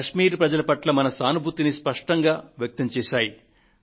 కశ్మీర్ ప్రజల పట్ల మన సానుభూతిని స్పష్టంగా వ్యక్తం చేశాయి